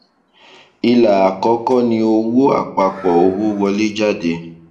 ilà àkọkọ ni owó àpapọ owó wọléjáde